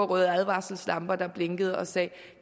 røde advarselslamper der blinkede og sagde